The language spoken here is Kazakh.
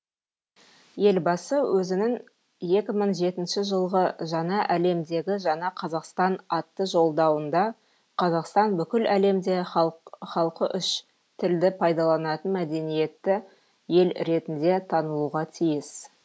елбасы өзінің екі мың жетінші жылғы жаңа әлемдегі жаңа қазақстан атты жолдауында қазақстан бүкіл әлемде халқы үш тілді пайдаланатын мәдениетті ел ретінде танылуға тиіс